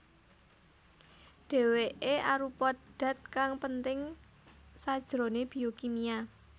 Dèwèké arupa dat kang penting sajroné biokimia